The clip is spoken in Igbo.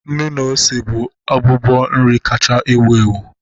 Nnu na ose bụ abụbọ nri kacha ewu ewu.